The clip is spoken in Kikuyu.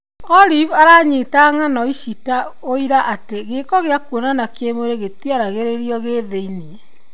Olive aranyita ng'ano ici ta ũira atĩ gĩko gĩa kũonana kĩmwĩrĩ gĩtiaragĩririo gĩthĩ-inĩ.